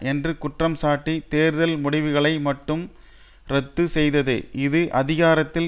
என்று குற்றம்சாட்டி தேர்தல் முடிவுகளை மட்டும் ரத்து செய்தது இது அதிகாரத்தில்